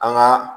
An ka